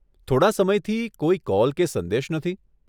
થોડાં સમયથી, કોઈ કોલ કે સંદેશ નથી.